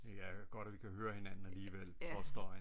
Det er godt at vi kan høre hinanden alligevel trods støjen